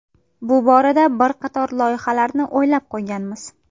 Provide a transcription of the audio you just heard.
Bu borada bir qator loyihalarni o‘ylab qo‘yganmiz.